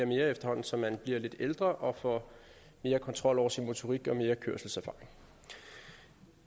mere efterhånden som man bliver lidt ældre og får mere kontrol over sin motorik og mere kørselserfaring